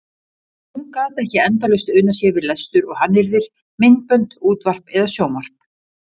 Og hún gat ekki endalaust unað sér við lestur og hannyrðir, myndbönd, útvarp eða sjónvarp.